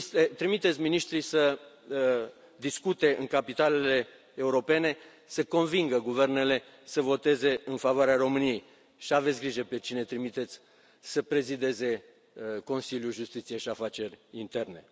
Trimiteți miniștrii să discute în capitalele europene, să convingă guvernele să voteze în favoarea României și aveți grijă pe cine trimiteți să prezideze Consiliul Justiție și Afaceri Interne.